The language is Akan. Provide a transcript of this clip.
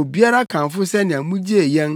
Obiara kamfo sɛnea mugyee yɛn